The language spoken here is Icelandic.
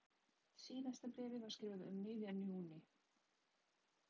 Síðasta bréfið var skrifað um miðjan júní.